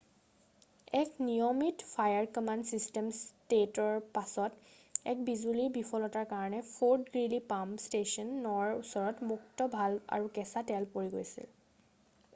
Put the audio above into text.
এক নিয়মিত fire command system টেষ্টৰ পাছত এক বিজুলীৰ বিফলতাৰ কাৰণে ফৰ্ট গ্ৰীলি পাম্প ষ্টেছন 9 ৰ ওচৰত মুক্ত ভাল্ভ আৰু কেঁচা তেল পৰি গৈছিল৷